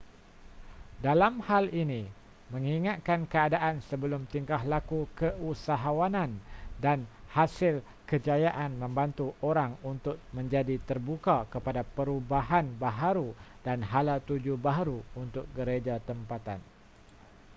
dalam hal ini mengingatkan keadaan sebelum tingkah laku keusahawanan dan hasil kejayaan membantu orang untuk menjadi terbuka kepada perubahan baharu dan hala tuju baharu untuk gereja tempatan